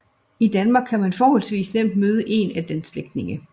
I Danmark kan man forholdsvis nemt møde en af dens slægtninge